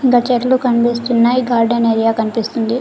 కింద చెట్లు కనిపిస్తున్నాయి గార్డెన్ ఏరియా కనిపిస్తుంది.